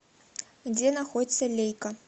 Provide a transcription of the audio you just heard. где находится лейка